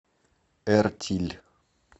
эртиль